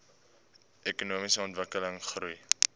ekonomiese ontwikkeling goeie